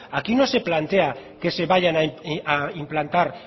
aquí no se plantea que se vayan a implantar